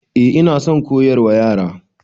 Eh ina son koyarwa Yara.